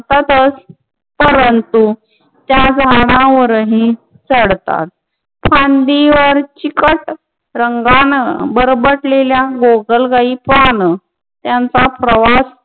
परन्तु त्या झाडावर हि चडतात. फान्दिवर चीकट रंगानं बरबटलेल्या गोगलगायी पान त्यांचा प्रवास